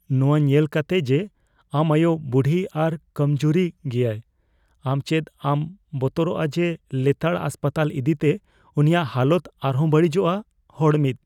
ᱱᱚᱣᱟ ᱧᱮᱞ ᱠᱟᱛᱮᱜ ᱡᱮ ᱟᱢ ᱟᱭᱳ ᱵᱩᱰᱷᱤ ᱟᱨ ᱠᱚᱢᱡᱩᱨᱤ ᱜᱮᱭᱟᱭ, ᱟᱢ ᱪᱮᱫ ᱵᱟᱢ ᱵᱚᱛᱚᱨᱚᱜᱼᱟ ᱡᱮ ᱞᱮᱛᱟᱲ ᱦᱟᱥᱯᱟᱛᱟᱞ ᱤᱫᱤᱛᱮ ᱩᱱᱤᱭᱟᱜ ᱦᱟᱞᱚᱛ ᱟᱨ ᱦᱚᱸ ᱵᱟᱹᱲᱤᱡᱚᱜᱼᱟ ? (ᱦᱚᱲ ᱑)